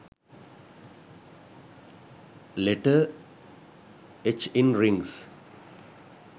letter h in rings